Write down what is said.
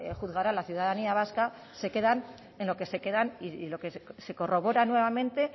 juzgará la ciudadanía vasca se quedan en lo que se quedan y lo que se corrobora nuevamente